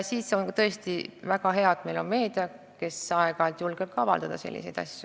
Siis on tõesti väga hea, et meil on meedia, kes aeg-ajalt julgeb toimunust rääkida.